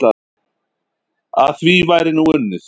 Að því væri nú unnið.